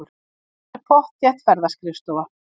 Það er pottþétt ferðaskrifstofa.